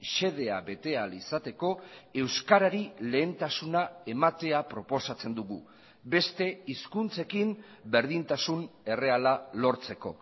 xedea bete ahal izateko euskarari lehentasuna ematea proposatzen dugu beste hizkuntzekin berdintasun erreala lortzeko